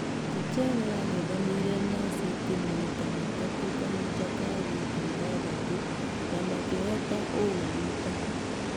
Tuchel yangethanĩire na city maita matatũ kahinda-inĩ ka wiki ithathatũ na makĩhotana ũ rita.